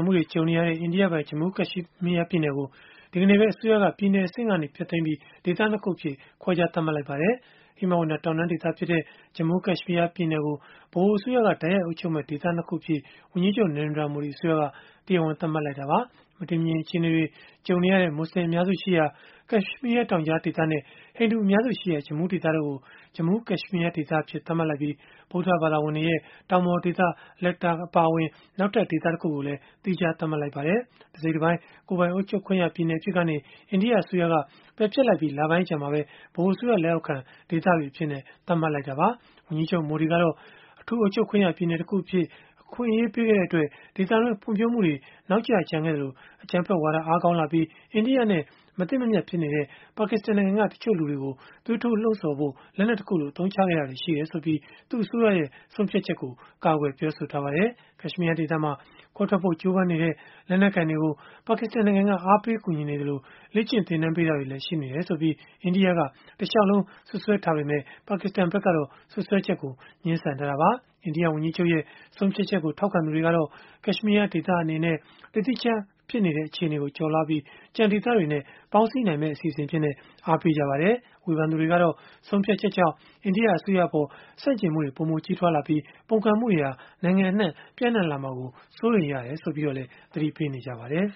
မှုတွေ ကြုံနေရတဲ့ အိန္ဒိယပိုင် ဂျမူး၊ ကက်ရှ်မီးယား ပြည်နယ်ကို ဒီကနေ့ပဲ အစိုးရက ပြည်နယ်အဆင့်ကနေ ဖျက်သိမ်းပြီး ဒေသ ၂ ခုအဖြစ် ခွဲခြား သတ်မှတ်လိုက်ပါတယ်။ ဟိမဝန္တာတောင်တန်းဒေသဖြစ်တဲ့ ဂျမူး၊ ကက်ရှ်မီးယား ပြည်နယ်ကို ဗဟိုအစိုးရက တိုက်ရိုက်အုပ်ချုပ်မယ့် ဒေသ ၂ ခု အဖြစ် ဝန်ကြီးချုပ် Narendra Modi အစိုးရက တရားဝင် သတ်မှတ်လိုက်တာပါ။ မတည်မငြိမ် အခြေအနေတွေ ကြုံနေရတဲ့ မွတ်ဆလင် အများစုရှိရာ ကက်ရှ်မီးယား တောင်ကြားဒေသနဲ့ ဟိန္ဒူအများစုရှိရာ ဂျမူးဒေသတို့ကို ဂျမူး၊ ကက်ရှ်မီးယား ဒေသအဖြစ် သတ်မှတ်လိုက်ပြီး၊ ဗုဒ္ဓဘာသာဝင်တွေရဲ့ တောင်ပေါ်ဒေသ Ladakh အပါအဝင် နောက်ထပ် ဒေသတခုကိုလည်း သီးခြားသတ်မှတ်လိုက်ပါတယ်။ တစိတ်တပိုင်း ကိုယ်ပိုင်အုပ်ချုပ်ခွင့်ရ ပြည်နယ်အဖြစ်ကနေ အိန္ဒိယအစိုးရက ပယ်ဖျက်လိုက်ပြီး လပိုင်းအကြာမှာပဲ ဗဟိုအစိုးရ လက်အောက်ခံ ဒေသတွေအဖြစ် သတ်မှတ်လိုက်တာပါ။ ဝန်ကြီးချုပ် Modi ကတော့ အထူးအုပ်ချုပ်ခွင့်ရ ပြည်နယ်တခုအဖြစ် အခွင့်အရေး ပေးခဲ့တဲ့အတွက် ဒေသတွင်း ဖွံ့ဖြိုးမှုတွေ နောက်ကျကျန်ခဲ့သလို၊ အကြမ်းဖက်ဝါဒ အားကောင်းလာပြီး အိန္ဒိယနဲ့ မသင့်မမြတ်ဖြစ်နေတဲ့ ပါကစ္စတန် နိုင်ငံက တချို့လူတွေကို သွေးထိုးလှုံ့ဆော်ဖို့ လက်နက်တခုလို အသုံးချခဲ့တာတွေ ရှိတယ်ဆိုပြီး သူ့အစိုးရရဲ့ ဆုံးဖြတ်ချက်ကို ကာကွယ်ပြောဆို ထားပါတယ်။ ကက်ရှ်မီးယား ဒေသမှာ ခွဲထွက်ဖို့ ကြိုးပမ်းနေတဲ့ လက်နက်ကိုင်တွေကို ပါကစ္စတန်နိုင်ငံက အားပေးကူညီနေသလို၊ လေ့ကျင့် သင်တန်းပေးတာတွေလည်း ရှိနေတယ်ဆိုပြီး အိန္ဒိယက တလျှောက်လုံး စွပ်စွဲခဲ့ပေမဲ့ ပါကစ္စတန်ကတော့ စွပ်စွဲချက်ကို ငြင်းဆန်ထားတာပါ။ အိန္ဒိယဝန်ကြီးချုပ်ရဲ့ ဆုံးဖြတ်ချက်ကို ထောက်ခံသူတွေကတော့ ကက်ရှ်မီးယားဒေသ အနေနဲ့ တသီးတခြား ဖြစ်နေတဲ့ အခြေအနေကို ကျော်လွှားပြီး ကျန်ဒေသတွေနဲ့ ပေါင်းစည်းနိုင်မယ့် အစီအစဉ်အဖြစ်နဲ့ အားပေးခဲ့ကြပါတယ်။ ဝေဖန်သူတွေကတော့ ဆုံးဖြတ်ချက်ကြောင့် အိန္ဒိယအစိုးရအပေါ် ဆန့်ကျင်မှုတွေ ပိုမိုကြီးထွားလာပြီး ပုန်ကန်မှုတွေဟာ နိုင်ငံအနှံ့ပျံ့နှံ့လာမှာ စိုးရိမ်ရတယ်လို့လည်း သတိပေးနေကြပါတယ်